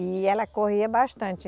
E ela corria bastante.